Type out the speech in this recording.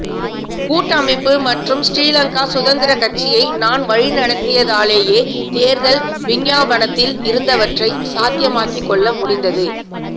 கூட்டமைப்பு மற்றும் ஸ்ரீலங்கா சுதந்திரக் கட்சியை நான் வழிநடத்தியதாலேயே தேர்தல் விஞ்ஞாபனத்தில் இருந்தவற்றை சாத்தியமாக்கிக்கொள்ள முடிந்தது